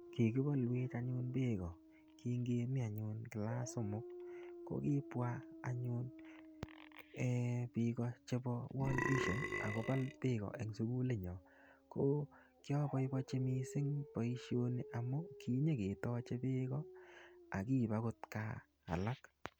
Kikibalwech anyun beek ko kingemi anyun kilas somok. Ko kibwa anyun um biik ko chebo World Vision, akobal beek ko eng sukulit nyo. Ko kiabobochi missing boisoni amu kinyiketache beek ko, akiip agot gaa alak.